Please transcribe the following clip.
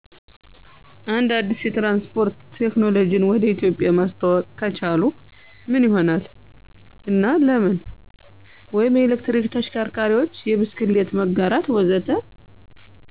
አንድ አዲስ የትራንስፖርት ቴክኖሎጂን ወደ ኢትዮጵያ ማስተዋወቅ ከቻሉ ምን ይሆናል እና ለምን? (የኤሌክትሪክ ተሽከርካሪዎች፣ የብስክሌት መጋራት፣ ወዘተ.)